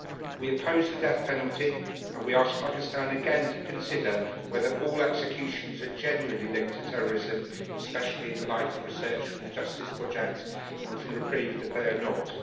We oppose the death penalty and we ask Pakistan again to consider whether all executions are genuinely linked to terrorism, especially in the light of research from the Justice Project and from Reprieve that they are not.